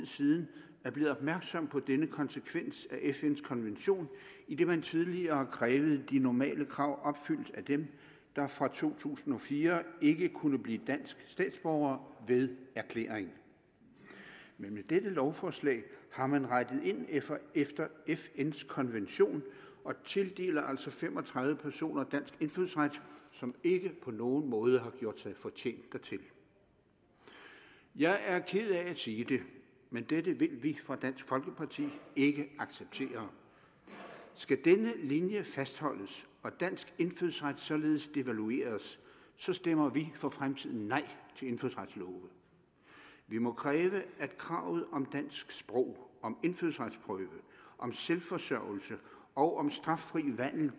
siden er blevet opmærksom på denne konsekvens af fns konvention idet man tidligere krævede de normale krav opfyldt af dem der fra to tusind og fire ikke kunne blive danske statsborgere ved erklæring men med dette lovforslag har man rettet ind efter fns konvention og tildeler altså fem og tredive personer dansk indfødsret som ikke på nogen måde har gjort sig fortjent dertil jeg er ked af at sige det men dette vil vi fra dansk folkeparti ikke acceptere skal denne linje fastholdes og dansk indfødsret således devalueres stemmer vi for fremtiden nej til indfødsretslove vi må kræve at kravet om dansk sprog om indfødsretsprøve om selvforsørgelse og om straffri vandel